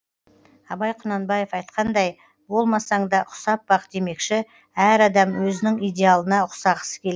абай құнанбаев айтқандай болмасаңда ұқсап бақ демекші әр адам өзінің идеалына ұқсағысы келеді